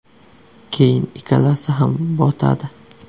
Keyin ikkalasi ham botadi.